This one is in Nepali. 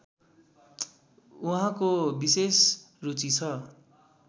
उहाँको विशेष रुचि छ